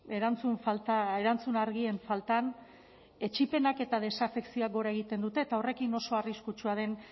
erantzun falta erantzun argien faltan etsipenak eta desafekzioak gora egiten dutek eta horrekin oso arriskutsua den